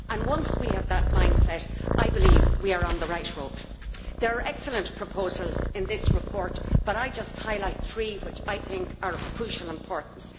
Once we have that mind set, I believe we are on the right road. There are excellent proposals in this report but I shall just highlight three which I think are of crucial importance.